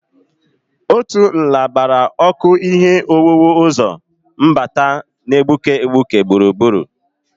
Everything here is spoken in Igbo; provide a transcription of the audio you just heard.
Otu nla gbara ọkụ ihe owuwu ụzọ mbata na-egbuke egbuke gburugburu.